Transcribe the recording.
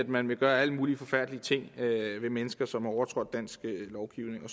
man vil gøre alle mulige forfærdelige ting ved mennesker som har overtrådt dansk lovgivning